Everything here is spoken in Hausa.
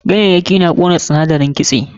Ganyayyaki na ƙona sinadarin kitse.